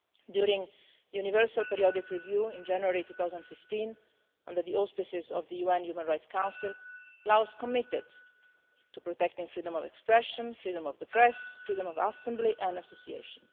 During the Universal Periodic Review in January 2015, under the auspices of the UN Human Rights Council, Laos committed to protecting freedom of expression, freedom of the press, freedom of assembly and association.